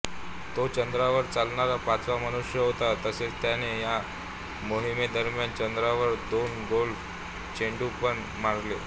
तो चंद्रावर चालणारा पाचवा मनुष्य होता तसेच त्याने या मोहिमेदरम्यान चंद्रावर दोन गोल्फ चेंडूपण मारले